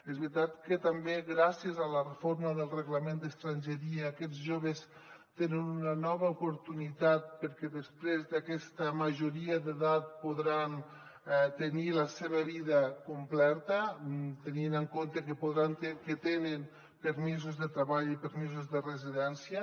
és veritat que també gràcies a la reforma del reglament d’estrangeria aquests joves tenen una nova oportunitat perquè després d’aquesta majoria d’edat podran tenir la seva vida completa tenint en compte que tenen permisos de treball i permisos de residència